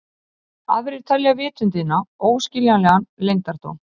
Aðrir telja vitundina óskiljanlegan leyndardóm.